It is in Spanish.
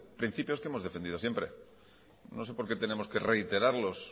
principios que hemos defendido siempre no sé por qué tenemos que reiterarlos